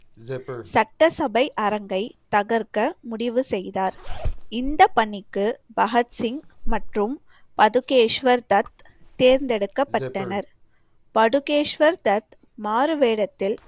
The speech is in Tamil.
சட்டசபை அரங்கை தகர்க்க முடிவு செய்தார். இந்த பணிக்கு பகத்சிங் மற்றும் பதுகேஸ்வர் தத் தேர்ந்தெடுக்கப்பட்டனர். பதுகேஸ்வர் தத் மாறுவேடத்தில்